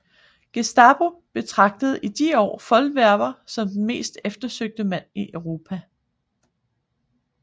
Gestapo betragtede i de år Wollweber som den mest eftersøgte mand i Europa